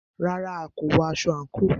Rárá,a kò wọ aṣọ àńkò.